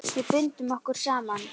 Við bundum okkur saman.